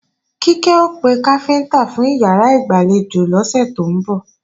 Kíkẹ́ ó pe káfíntá fún ìyàrá ìgbàlejò lọ́sẹ̀ tó ń bọ̀